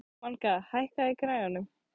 Manga, hækkaðu í græjunum.